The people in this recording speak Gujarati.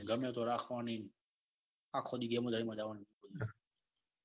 ગમે તો રાખવાની ન આખી દિન ન આમ જ જવાન.